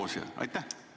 ... kui sellel, kes on soos.